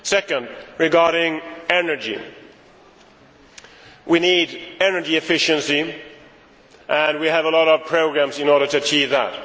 Secondly, regarding energy, we need energy efficiency. We have a lot of programmes in order to achieve that.